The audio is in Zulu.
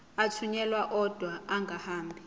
athunyelwa odwa angahambi